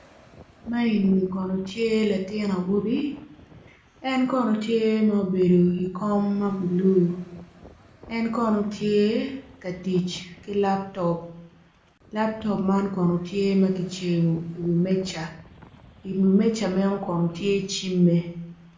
Man eni kono tye latin awobi en kono tye ma obedo i wi kom ma bulu en kono tye ka tic ki laptop. Laptop man kono tye kicibo i wi meja kun i wi meja meno kono tye cimme.